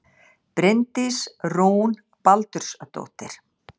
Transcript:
Bryndís Rún Baldursdóttir